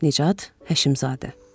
Nicat Həşimzadə.